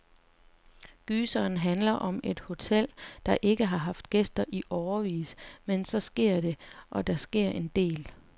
Gyseren handler om et hotel, der ikke har haft gæster i årevis, men så sker det, og der sker en del.